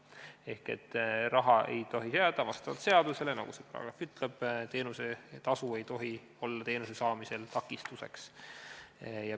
Ehk seaduse järgi ei tohi see raha taha jääda, seaduse järgi, nagu see paragrahv ütleb, teenuse tasu suurus ei tohi olla teenuse saamisel takistuseks.